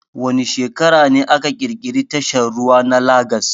Wa ne shekara ne aka kirkiri tashar ruwa na Lagas